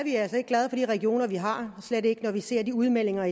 glade for de regioner vi har slet ikke når vi ser de udmeldinger